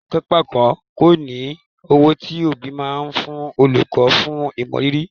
Kànńpá kọ́ ni owó tí òbí máa ń fún olùkọ́ fún ìmọrírì